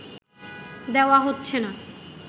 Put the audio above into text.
দেওয়া হচ্ছে না